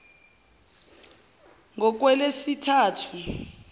kungolwesithathu